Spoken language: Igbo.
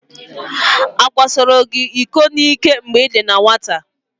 Akwasoro gị iko n'ike mgbe ị dị na nwata?